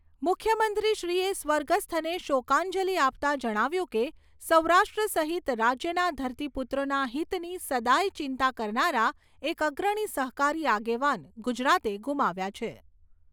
મુખ્યમંત્રીશ્રી એ સ્વર્ગસ્થને શોકાંજલી આપતાં જણાવ્યું કે સૌરાષ્ટ્ર સહિત રાજ્યના ધરતીપુત્રોના હિતની સદાય ચિંતા કરનારા એક અગ્રણી સહકારી આગેવાન ગુજરાતે ગુમાવ્યા છે.